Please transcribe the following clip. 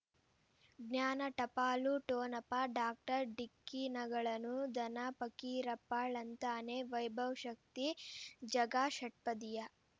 ಜ್ಞಾನ ಟಪಾಲು ಠೊಣಪ ಡಾಕ್ಟರ್ ಢಿಕ್ಕಿ ಣಗಳನು ಧನ ಫಕೀರಪ್ಪ ಳಂತಾನೆ ವೈಭವ್ ಶಕ್ತಿ ಜಗಾ ಷಟ್ಪದಿಯ